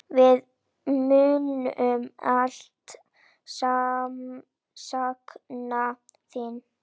Við munum alltaf sakna þín.